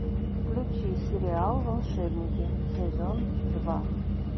включи сериал волшебники сезон два